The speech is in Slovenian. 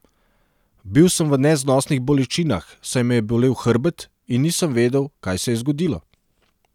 Bil sem v neznosnih bolečinah, saj me je bolel hrbet, in nisem vedel, kaj se je zgodilo.